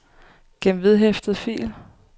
gem vedhæftet fil